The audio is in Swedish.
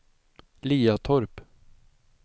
Liatorp